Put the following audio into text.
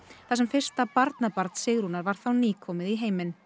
þar sem fyrsta barnabarn Sigrúnar var þá nýkomið í heiminn